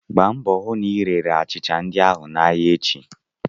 Gbaa mbọ hụ na ị rere achịcha ndị ahụ n'ahịa echi!